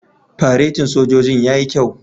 Faretin sojojin yayi kyau.